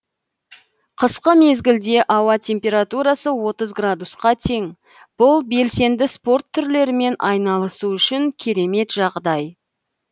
қысқы мезгілде ауа температурасы отыз градусқа тең бұл белсенді спорт түрлерімен айналысу үшін керемет жағдай